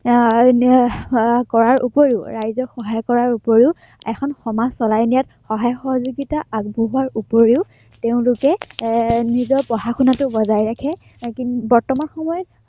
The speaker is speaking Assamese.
আহ উম কৰাৰ ওপৰিও, ৰাইজক সহায় কৰাৰ ওপৰিও এখন সমাজ চলাই নিয়াত সহায়-সহযোগিতা আগবঢ়োৱাৰ ওপৰিও তেওঁলোকে আহ নিজৰ পঢ়া-শুনাতো বজাই ৰাখে। উম কিন্তু বৰ্তমান সময়ত